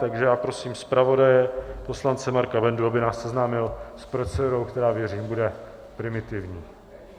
Takže já prosím zpravodaje poslance Marka Bendu, aby nás seznámil s procedurou, která, věřím, bude primitivní.